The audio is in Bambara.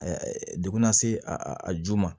degun na se a ju ma